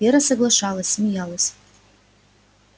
вера соглашалась смеялась